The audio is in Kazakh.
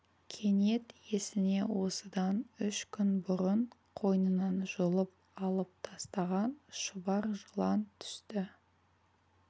кенет есіне осыдан үш күн бұрын қойнынан жұлып алып тастаған шұбар жылан түсті